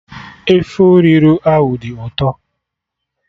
Efọriro ahụ dị ụtọ